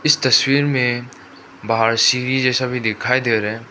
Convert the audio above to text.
तस्वीर में बाहर सीढ़ी जैसा भी दिखाई दे रहा --